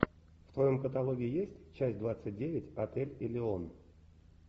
в твоем каталоге есть часть двадцать девять отель элеон